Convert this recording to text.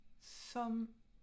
Som